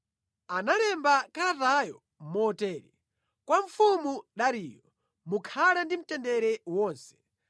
Analemba kalatayo motere: Kwa mfumu Dariyo: Mukhale ndi mtendere wonse.